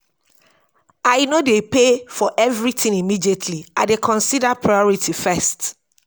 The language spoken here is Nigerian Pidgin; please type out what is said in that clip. i no dey pay for everytin immediately i dey consider priority first.